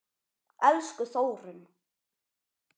Elsku Þórunn.